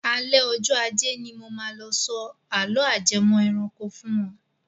Alẹ́ ọjọ ajẹ́ ni mo máa lọ sọ àló ajẹmọ́ ẹranko fún wọn.